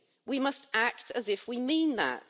We must act as if we mean that.